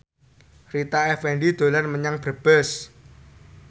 Rita Effendy dolan menyang Brebes